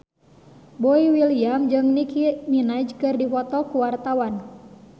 Boy William jeung Nicky Minaj keur dipoto ku wartawan